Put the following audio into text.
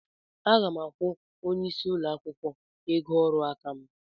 Aga m akwụ onye isí ụlọ akwụkwọ ego ọrụ aka m.